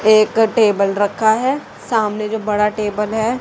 एक टेबल रखा है सामने जो बड़ा टेबल है।